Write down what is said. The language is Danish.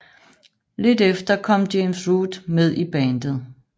Lidt efter kom James Root med i bandet